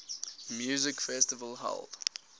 music festival held